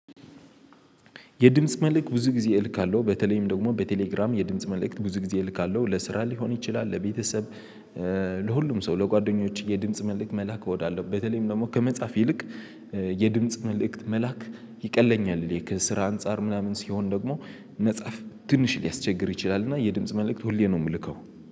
የድምጽ መልእክት ብዙ ጊዜ እልካለሁ በተለይም ደግሞ በቴሌግራም የድምጽ መልእክት ብዙ ጊዜ እልካለሁ ለስራ ሊሆን ይችላል ለቤተሰብ ለሁሉም ሰው ለጓደኞችህ የድምጽ መልክ መልክ መላክ እወዳለው። በተለይም ደግሞ ከመጻፍ ይልቅ የድምጽ መልእክት መላክ ይቀለኛል። ከስራ አንፃር ምናምን ሲሆን ደግሞ መጽሐፍ ትንሽ ሊያስቸግር ይችላልና የድምጽ መልእክት ሁሌም ነው የምልከው።